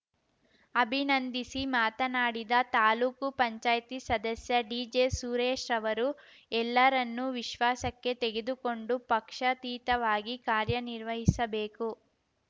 ಅಭಿನಂದಿಸಿ ಮಾತನಾಡಿದ ತಾಲೂಕು ಪಂಚಾಯ್ತಿ ಸದಸ್ಯ ಡಿಜೆ ಸುರೇಶ್‌ ಅವರು ಎಲ್ಲರನ್ನೂ ವಿಶ್ವಾಸಕ್ಕೆ ತೆಗೆದುಕೊಂಡು ಪಕ್ಷಾತೀತವಾಗಿ ಕಾರ್ಯನಿರ್ವಹಿಸಬೇಕು